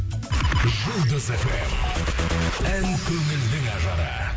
жұлдыз фм ән көңілдің ажары